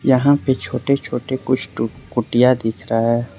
यहां पे छोटे छोटे कुछ तो कुटिया दिख रहा है।